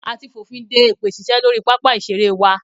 A ti fònfin de èpè ṣíṣe lórí pápá ìṣeré wa.